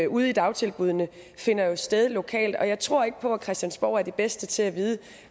ude i dagtilbuddene finder jo sted lokalt og jeg tror ikke på at christiansborg er de bedste til at vide